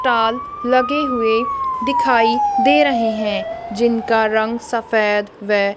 टाल लगे हुए दिखाई दे रहे हैं जिनका रंग सफेद वे--